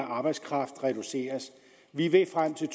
arbejdskraft reduceres vi vil frem til